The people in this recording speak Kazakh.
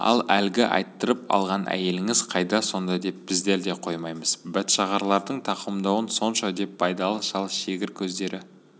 ал әлгі айттырып алған әйеліңіз қайда сонда деп біздер де қоймаймыз бәтшағарлардың тақымдауын сонша деп байдалы шал шегір көздері